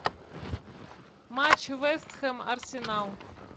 матч вест хэм арсенал